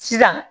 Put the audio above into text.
Sisan